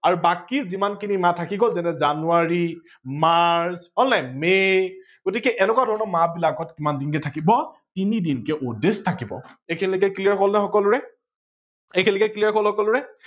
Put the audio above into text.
আৰু বাকী যিমান খিনি মাহ থকি গল যেনে জানুৱাৰী, মাৰ্চ হল নে মে গতিকে এনেকোৱা ধৰনৰ মাহ বিলাকত কিমান দিনকে থাকিব তিনি দিনকে odd days থাকিব ।এইখিনি লেকে clear হল নে সকলোৰে এইখিনি লেকে clear হল সকলোৰে